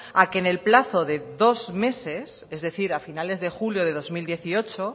a que en el plazo de dos meses es decir a finales de julio de dos mil dieciocho